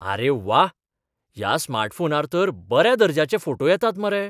आरे वाह! ह्या स्मार्टफोनार तर बऱ्या दर्ज्याचे फोटो येतात मरे.